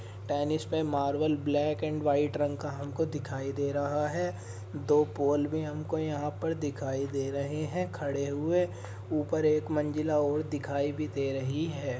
Tennis पे marble black and white रंग का हमको दिखाई दे रहा है। दो पोल भी हमको यहाँ पर दिखाई दे रहे हैं। खड़े हुए ऊपर एक मंजिला और दिखाई भी दे रही है।